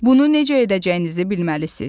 Bunu necə edəcəyinizi bilməlisiniz.